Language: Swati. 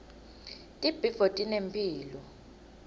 tibhidvo tinemphilo